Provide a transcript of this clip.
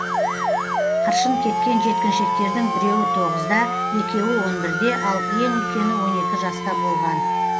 қыршын кеткен жеткіншектердің біреуі тоғызда екеуі он бірде ал ең үлкені он екі жаста болған